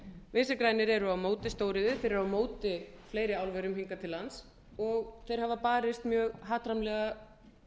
vinstri grænir eru á móti stóriðju þeir eru á móti fleiri álverum hingað til lands og þeir hafa barist mjög hatrammlega